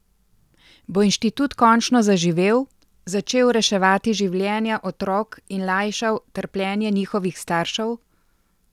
Bo inštitut končno zaživel, začel reševati življenja otrok in lajšal trpljenje njihovih staršev?